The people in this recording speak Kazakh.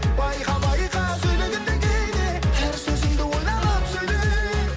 байқа байқа сөйлегенде кейде әр сөзіңді ойланып сөйле